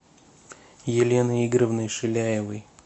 еленой игоревной шиляевой